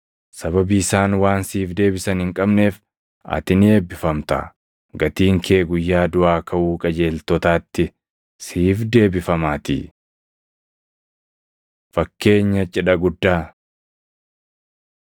Sababii isaan waan siif deebisan hin qabneef ati ni eebbifamta; gatiin kee guyyaa duʼaa kaʼuu qajeeltotaatti siif deebifamaatii.” Fakkeenya Cidha Guddaa 14:16‑24 kwi – Mat 22:2‑14